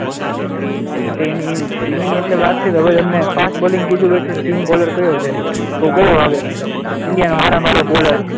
એ તો એની સ્પીનિંગ એટલે વાત કહો કે હવે તમને ફાસ્ટ બોલિંગ કીધું હોય તો સીમ બોલર કયો છે કયો આવે? ઈન્ડિયા નો સારામાં સારો બોલર,